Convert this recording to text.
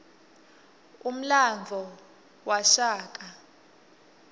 umlandvo wabashaka